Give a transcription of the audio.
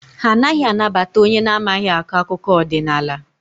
Ha anaghị anabata onye na-amaghị akọ akụkọ ọdịnaala.